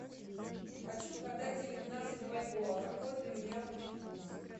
хочу продать девятнадцать бальбоа какой для меня будет курс